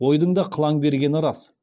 ойдың да қылаң бергені рас